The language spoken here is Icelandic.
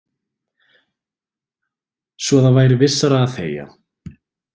Svo það væri vissara að þegja.